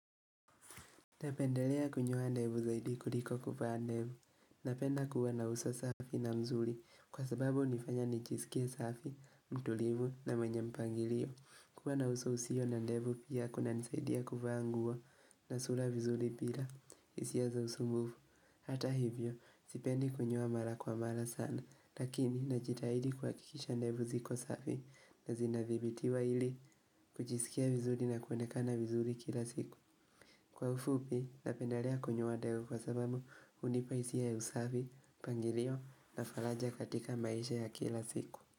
Napendelea kunyoa ndevu zaidi kuliko kuvaa ndevu. Napenda kuwa na uso safi na mzuri kwa sababu hunifanya nijisikie safi mtulivu na mwenye mpangilio. Kuwa na uso usio na ndevu pia kunanisaidia kuvaa nguo na sura vizuri pira isia za usumbufu. Hata hivyo, sipendi kunyoa mara kwa mara sana, lakini najitahidi kuhakikisha ndevu ziko safi na zinadhibitiwa ili kujisikia vizuri na kuonekana vizuri kila siku. Kwa ufupi, napendalea kunyoa ndevu kwa sababu hunipa hisia ya usavi, mpangirio na falaja katika maisha ya kila siku.